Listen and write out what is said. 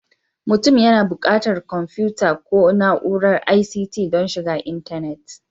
Mutum yana buƙatar kwamfuta ko na'urar ICT don shiga intanet